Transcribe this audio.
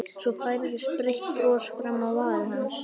Svo færðist breitt bros fram á varir hans.